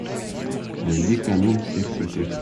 найди канун всех святых